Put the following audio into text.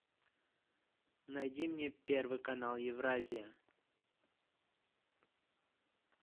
найди мне первый канал евразия